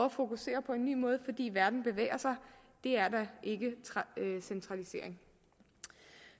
at fokusere på en ny måde fordi verden bevæger sig det er da ikke centralisering